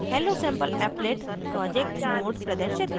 hellosampleapplet project node प्रदर्शित करें